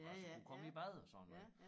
Altså kunne komme i bad og sådan noget